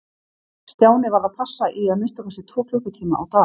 Stjáni varð að passa í að minnsta kosti tvo klukkutíma á dag.